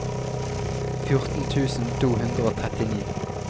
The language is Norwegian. fjorten tusen to hundre og trettini